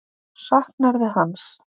Saknarðu hans?